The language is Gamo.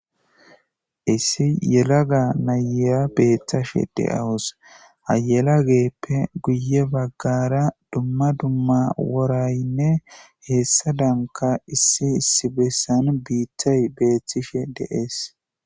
issi yelaga nayeya beettashe de7awus hayelageppe guye baggara dumma dumma woraynne heessa danka issi issi bessan biittay beeththishe deees